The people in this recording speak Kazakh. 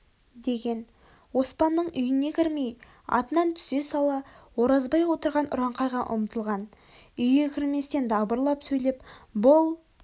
деген оспанның үйіне кірмей атынан түсе сала оразбай отырған ұраңқайға ұмтылған үйге кірместен дабырлап сөйлеп бұл